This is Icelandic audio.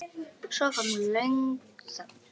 Svo kom löng þögn.